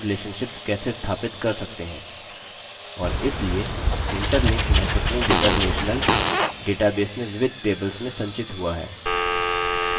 और इसलिए interlink महत्वपूर्ण data relational database में विविध tables में संचित हुआ है